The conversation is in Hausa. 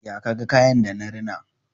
Ya ka ga kayan da na rina?